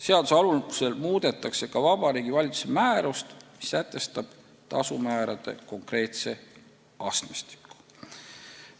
Seaduse alusel muudetakse ka Vabariigi Valitsuse määrust, mis sätestab tasumäärade konkreetse astmestiku.